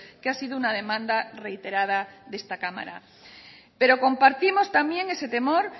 que ha sido una demanda reiterada de esta cámara pero compartimos también ese temor